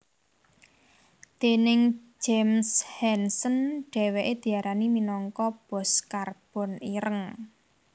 Déning James Hansen dhèwèké diarani minangka bos karbon ireng